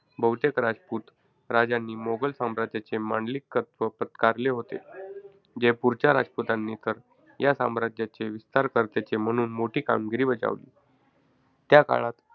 बहुतेक राजपूत राजांनी मोगल साम्राज्याचे मांडलिकत्व पत्कारले होते. जयपूरच्या राजपुतांनी तर या साम्राज्याचे विस्तारकर्तेचे म्हणून मोठी कामगिरी बजावली. त्या काळात,